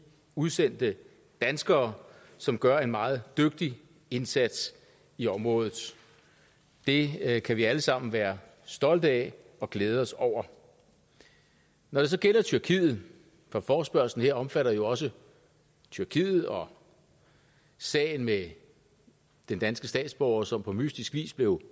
udsendte danskere som gør en meget dygtig indsats i området det kan vi alle sammen være stolte af og glæde os over når det så gælder tyrkiet for forespørgslen her omfatter jo også tyrkiet og sagen med den danske statsborger som på mystisk vis blev